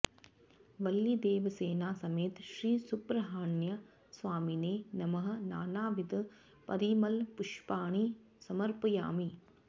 वल्लीदेवसेना समेत श्री सुब्रह्मण्य स्वामिने नमः नानाविध परिमळ पुष्पाणि समर्पयामि